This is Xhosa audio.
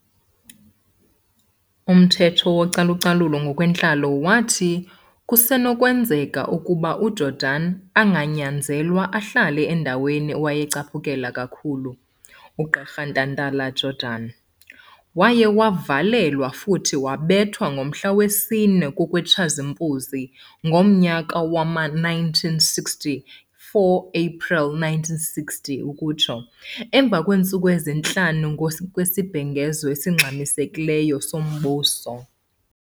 Umthetho wacalucalulo ngokwentlalo wathi kusenokwenzeka ukuba uJordan anganyanzelwa ahlale endaweni awayeyicaphukela kakhulu ugqirha Ntantala- Jordan. Waye wavalelwa futhi wabethwa ngomhla wesine kwekaTshazimpunzi ngomnyaka wama-1960, 4 April 1960, emva kwentsuku ezintlanu kwesibhengezo esingxamiseileyo sombuso.